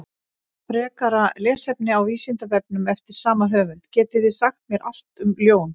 Frekara lesefni á Vísindavefnum eftir sama höfund: Getið þið sagt mér allt um ljón?